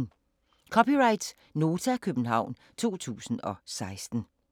(c) Nota, København 2016